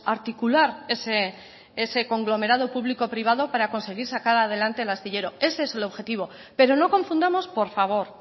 articular ese conglomerado público privado para conseguir sacar adelante el astillero ese es el objetivo pero no confundamos por favor